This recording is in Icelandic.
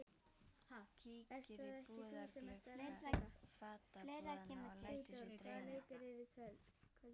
Kíkir í búðarglugga fatabúðanna og lætur sig dreyma.